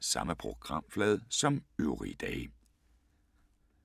Samme programflade som øvrige dage